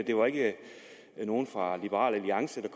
det var ikke nogen fra liberal alliance